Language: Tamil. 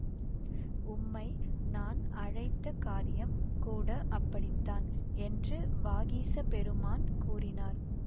உம்மை நான் அழைத்த காரியம் கூட அப்படித்தான் என்று வாகீசப் பெருமான் கூறினார்